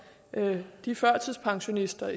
de førtidspensionister